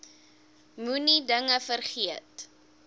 moenie dinge vergeet